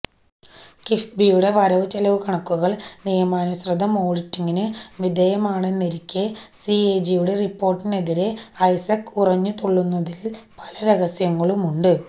കിഫ്ബിയുടെ വരവു ചെലവു കണക്കുകള് നിയമാനുസൃതം ഓഡിറ്റിങ്ങിനു വിധേയമാണെന്നിരിക്കെ സിഎജി റിപ്പോര്ട്ടിനെതിരെ ഐസക് ഉറഞ്ഞുതുള്ളുന്നതില് പല രഹസ്യങ്ങളുമുണ്ട്